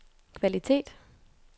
kvalitet